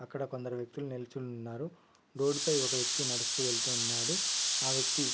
అక్కడ కొందర వ్యక్తులు నిల్చొని ఉన్నారు రోడ్డు పై ఒక వ్యక్తి నడుస్తూ వెళ్తూ ఉన్నాడు ఆ వ్యక్తి --